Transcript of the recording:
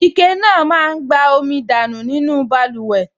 Ike náà máa n gba omi dání nínú báluwẹ̀ náà